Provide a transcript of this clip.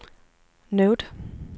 note